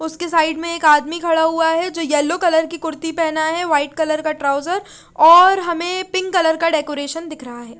उसके साइड में एक आदमी खड़ा हुआ है जो येलो कलर की कुर्ती पेहना है वाइट कलर का ट्राउसर और हमे पिंक कलर का डेकोरेशन दिख रहा है।